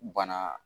Bana